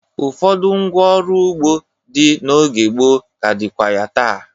Ụfọdụ ngwá ọrụ ugbo dị n'oge gboo ka dịkwa ya taa.